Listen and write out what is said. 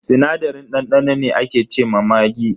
Sinadarin dandano ne ake ce ma maggi.